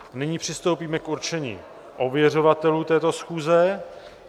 Nyní přistoupíme k určení ověřovatelů této schůze.